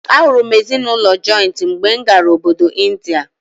A hụrụ m ezinụlọ jọịntị mgbe m gara obodo Ịndịa.